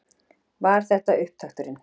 Var þetta upptakturinn?